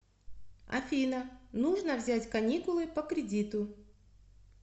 афина нужно взять каникулы по кредиту